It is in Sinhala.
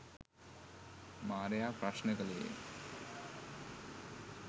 මාරයා ප්‍රශ්න කළේය.